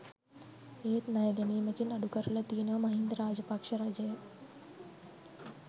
ඒත් ණය ගැනීමකින් අඩුකරලා තියෙනවා මහින්ද රාජපක්ෂ රජය.